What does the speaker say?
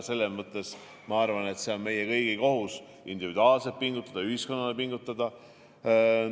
Selles mõttes ma arvan, et meie kõigi kohus on igaühel individuaalselt pingutada ja ka ühiskonnana pingutada.